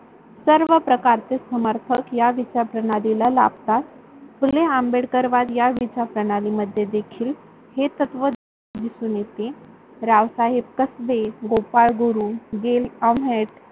सर्व प्रकार चे समर्थक या विचार प्रणीला लाभतात फुले आंबेडकर वाद या विचार प्रणाली मध्ये देखील. हे तत्व दिसून येते रावसाहेब कसबे, गोपाळ गुरु, गेल अहमेद,